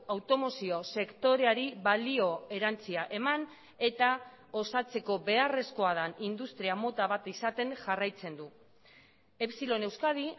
automozio sektoreari balio erantsia eman eta osatzeko beharrezkoa den industria mota bat izaten jarraitzen du epsilon euskadi